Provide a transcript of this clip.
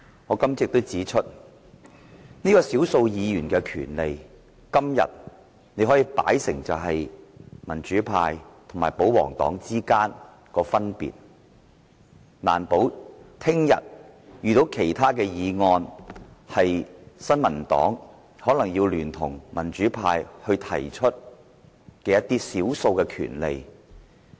我今早亦指出，從少數議員的權利，可以看出民主派和保皇黨之間的分別，但難保他日會遇到其他議案，新民黨可能要聯同民主派提出一些關乎少數權利的議案。